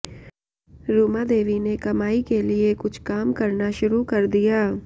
रुमा देवी ने कमाई के लिए कुछ काम करना शुरू कर दिया